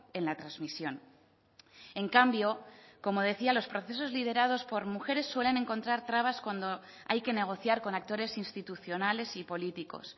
en la transmisión en cambio como decía los procesos liderados por mujeres suelen encontrar trabas cuando hay que negociar con actores institucionales y políticos